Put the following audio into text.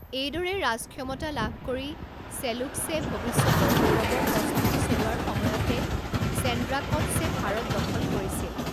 এইদৰে ৰাজক্ষমতা লাভ কৰি চেলুকছে ভৱিষ্যতৰ গৌৰৱৰ প্ৰস্তুতি চলোৱাৰ সময়তে চেণ্ড্ৰাকটছে ভাৰত দখল কৰিছিল।